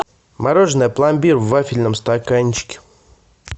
мороженое пломбир в вафельном стаканчике